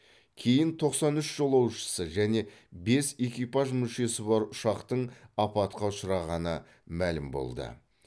кейін тоқсан үш жолаушысы және бес экипаж мүшесі бар ұшақтың апатқа ұшырағаны мәлім болды